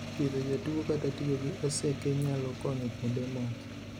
Pidho ja tuo kata tiyo gi oseke nyalo konyo kuonde moko.